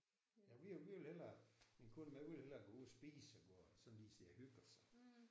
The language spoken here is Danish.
Jamen vi vil vi vil hellere min kone hun vil hellere gå ud og spise og gå og sådan lige sidde og hygge os og